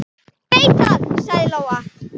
Ég veit það, sagði Lóa.